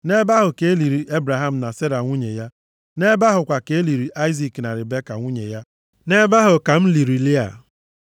Nʼebe ahụ ka e liri Ebraham na Sera nwunye ya. Nʼebe ahụ kwa ka e liri Aịzik na Ribeka nwunye ya. Nʼebe ahụ ka m liri Lịa.